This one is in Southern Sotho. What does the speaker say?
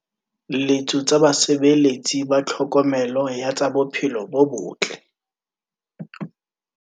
letso tsa basebeletsi ba tlhokomelo ya tsa bophelo bo bottle